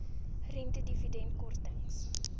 rente dividende kortings